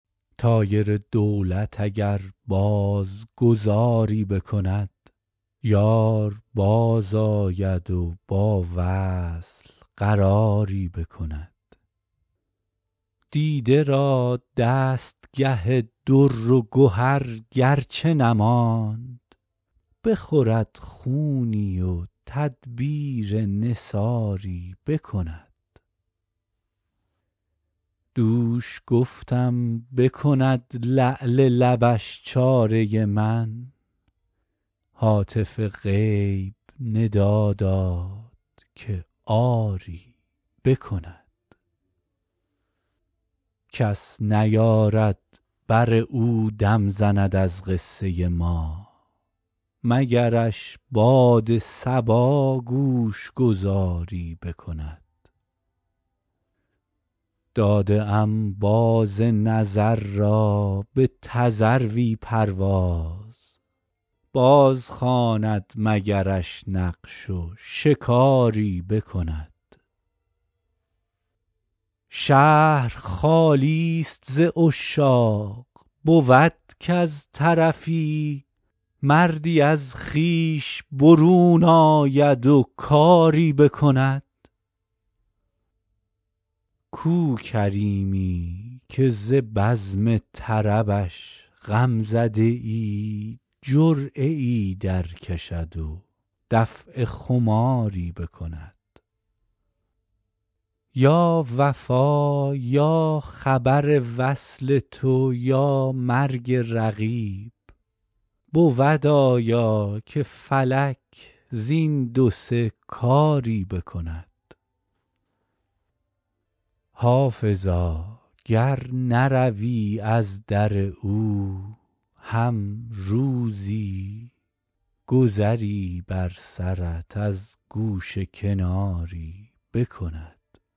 طایر دولت اگر باز گذاری بکند یار بازآید و با وصل قراری بکند دیده را دستگه در و گهر گر چه نماند بخورد خونی و تدبیر نثاری بکند دوش گفتم بکند لعل لبش چاره من هاتف غیب ندا داد که آری بکند کس نیارد بر او دم زند از قصه ما مگرش باد صبا گوش گذاری بکند داده ام باز نظر را به تذروی پرواز بازخواند مگرش نقش و شکاری بکند شهر خالی ست ز عشاق بود کز طرفی مردی از خویش برون آید و کاری بکند کو کریمی که ز بزم طربش غم زده ای جرعه ای درکشد و دفع خماری بکند یا وفا یا خبر وصل تو یا مرگ رقیب بود آیا که فلک زین دو سه کاری بکند حافظا گر نروی از در او هم روزی گذری بر سرت از گوشه کناری بکند